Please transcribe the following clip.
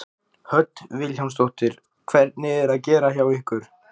Hödd Vilhjálmsdóttir: Hvernig er að gera hjá ykkur?